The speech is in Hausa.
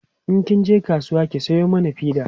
in kin je kasuwa ki Sayo mana fida